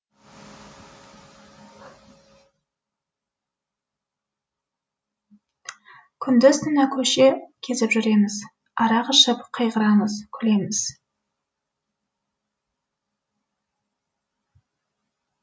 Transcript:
күндіз түні көше кезіп жүреміз арақ ішіп қайғырамыз күлеміз